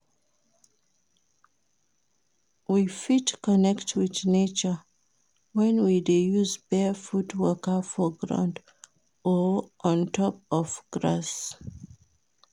We fit connect with nature when we dey use barefoot waka for ground or on top grass